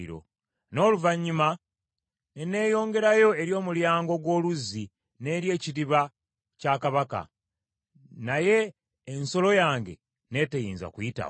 N’oluvannyuma ne neyongerayo eri Omulyango ogw’Oluzzi n’eri Ekidiba kya Kabaka, naye ensolo yange n’eteyinza kuyitawo.